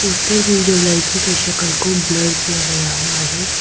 Poster में जो लड़की के सकल को ब्लर किया गया हुआ है।